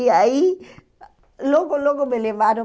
E aí, logo, logo me levaram.